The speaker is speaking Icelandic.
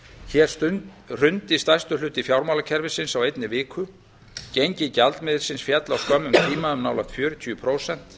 hér hrundi stærstur hluti fjármálakerfisins á einni viku gengi gjaldmiðilsins féll á skömmum tíma um nálægt fjörutíu prósent